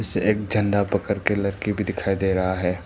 से एक झंडा पकड़ के लड़की भी दिखाई दे रहा है।